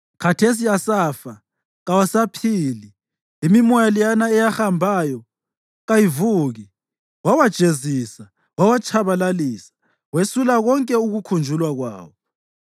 Khathesi asafa, kawasaphili; imimoya leyana eyahambayo kayivuki. Wawajezisa, wawatshabalalisa; wesula konke ukukhunjulwa kwawo.